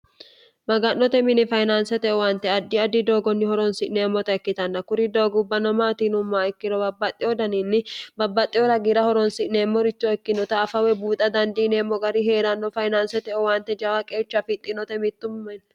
maga'note mini fayinaansete owante addi addi doogonni horonsi'neemmota ikkitanna kuri doogubbanno maatiinummaa ikkirowabbaxxe odaniinni babbaxxe ora giira horonsi'neemmoricho ikkinota afawe buuxa dandiineemmo gari hee'ranno fayinaansete owante jawa qeecha fixxinote mittummaenni